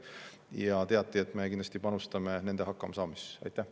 Ja teati, et me kindlasti panustame nende hakkamasaamisesse.